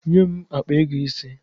Nye m akpa ego ise!